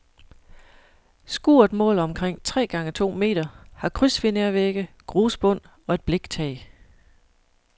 Skuret måler omkring tre gange to meter, har krydsfinervægge, grusbund og et bliktag.